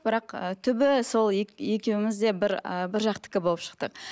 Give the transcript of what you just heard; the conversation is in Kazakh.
бірақ ы түбі сол екеуміз де бір і бір жақтікі болып шықтық